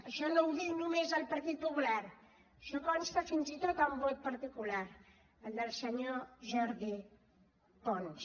això no ho diu només el partit popular això consta fins i tot en vot particular el del senyor jordi pons